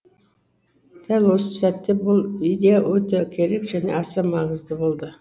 дәл осы сәтте бұл идея өте керек және аса маңызды болды